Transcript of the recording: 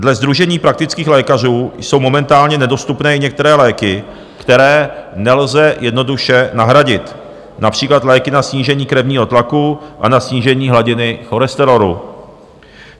Dle Sdružení praktických lékařů jsou momentálně nedostupné i některé léky, které nelze jednoduše nahradit, například léky na snížení krevního tlaku a na snížení hladiny cholesterolu.